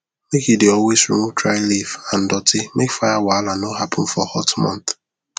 make u dey always remove dry leaf and doti make fire wahala no happen for hot month